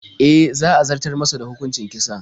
E, za a zartar masa da hukuncin kisan.